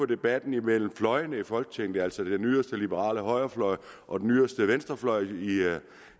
debatten mellem fløjene i folketinget altså den yderste liberale højrefløj og den yderste venstrefløj